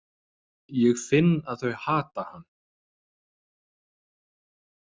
Ég finn að þau hata hann.